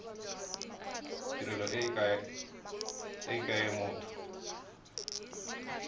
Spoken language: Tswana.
tirelo e ke ya motho